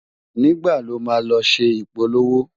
nígbà ló má ló ṣé ipolowo?